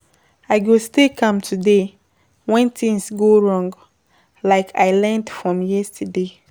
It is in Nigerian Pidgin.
I go stay calm today when things go wrong, like I learned from yesterday.